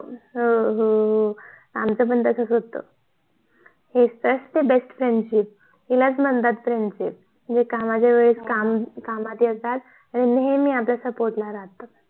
हो हो आमच पण तसच होत हिच तर असते BEST FRIENDSHIP यालाच म्हणतात FRIENDSHIP जे कामाच्या वेळेस कामात येतात आणि नेहमी आपल्या SUPPORT करतात